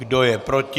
Kdo je proti?